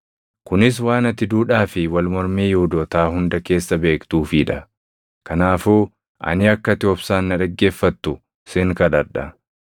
Kunis waan ati duudhaa fi wal mormii Yihuudootaa hunda keessa beektuufii dha. Kanaafuu ani akka ati obsaan na dhaggeeffattu sin kadhadha.